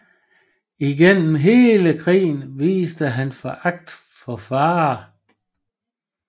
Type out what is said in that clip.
Igennem hele krigen viste han foragt for fare